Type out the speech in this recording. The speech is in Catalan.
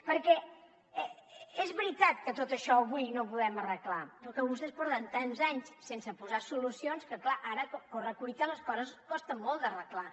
perquè és veritat que tot això avui no ho podem arreglar però vostès porten tants anys sense posar solucions que clar ara a correcuita les coses costen molt d’arreglar